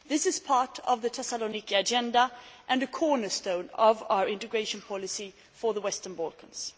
This is part of the Thessaloniki Agenda and a cornerstone of our integration policy for the Western Balkans.